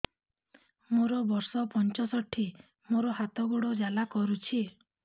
ମୋର ବର୍ଷ ପଞ୍ଚଷଠି ମୋର ହାତ ଗୋଡ଼ ଜାଲା କରୁଛି